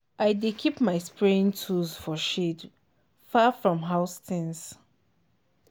i dey keep my spraying tools for shed far from house things.